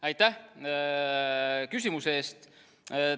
Aitäh küsimuse eest!